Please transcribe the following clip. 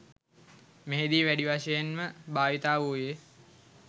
මෙහිදී වැඩි වශයෙන්ම භාවිත වූයේ